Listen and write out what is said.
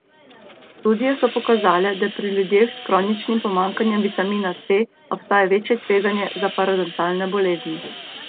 Študije so pokazale, da pri ljudeh s kroničnim pomanjkanjem vitamina C, obstaja večje tveganje za parodontalne bolezni.